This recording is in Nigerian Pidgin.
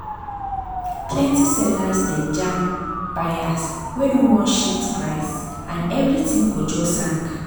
plenty sellers dey jam buyers wey no wan shift price and everything go just hang.